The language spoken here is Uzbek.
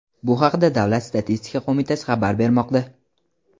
Bu haqda Davlat statistika qo‘mitasi xabar bermoqda.